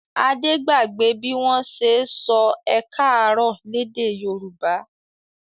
Adé gbàgbé bí wọ́n ṣe sọ ẹ káàárọ̀ lédè Yorùbá.